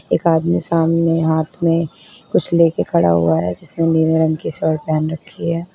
एक आदमी सामने हाथ में कुछ लेके खड़ा हुआ है जिसने नीला रंग की शर्ट पहन रखी है।